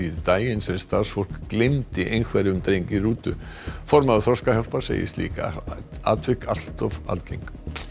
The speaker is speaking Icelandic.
daginn sem starfsfólk gleymdi einhverfum dreng í rútu formaður Þroskahjálpar segir slík atvik allt of algeng